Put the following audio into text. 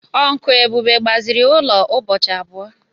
Uncle Ebube gbaziri ụlọ ụbọchị abụọ.